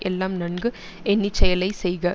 எல்லாம் நன்கு எண்ணி செயலை செய்க